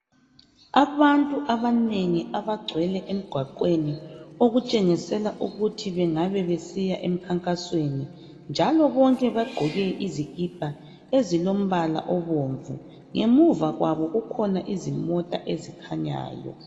Abantu abanengi abagcwele emgwaqweni okutshengisela ukuthi bangabe besiya emkhankasweni njalo bonke bagqoke izikipa ezilombala obomvu ngemuva kwabo kukhona izimota ezikhanyayo.